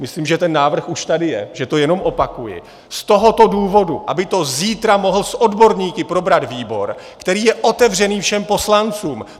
Myslím, že ten návrh už tady je, že to jenom opakuji, z tohoto důvodu: aby to zítra mohl s odborníky probrat výbor, který je otevřený všem poslancům.